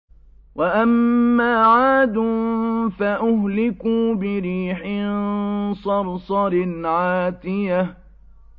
وَأَمَّا عَادٌ فَأُهْلِكُوا بِرِيحٍ صَرْصَرٍ عَاتِيَةٍ